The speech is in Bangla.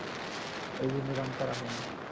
এই জন্য ধান করা হয় না